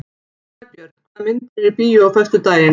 Snæbjörn, hvaða myndir eru í bíó á föstudaginn?